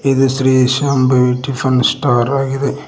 ಇದು Shri Shambhavi tiffin star ಆಗಿದೆ.